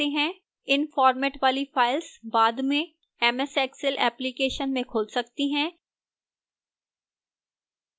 इन format वाली files बाद में ms excel application में खुल सकती हैं